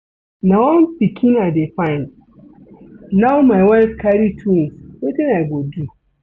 Na one pikin I dey find, now my wife carry twins, wetin I go do?